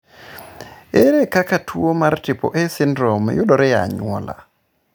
Ere kaka tuwo mar triple A syndrome yudore e anyuola?